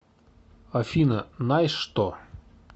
афина наешь что